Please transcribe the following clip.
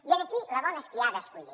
i aquí la dona és qui ha d’escollir